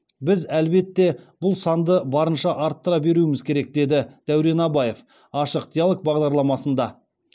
біз әлбетте бұл санды барынша арттыра беруіміз керек деді дәурен абаев ашық диалог бағдарламасында